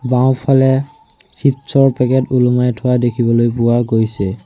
বাওঁফালে চিপচ ৰ পেকেট ওলমাই থোৱা দেখিবলৈ পোৱা গৈছে।